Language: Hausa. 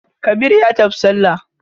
Kabir ya tafi sallah.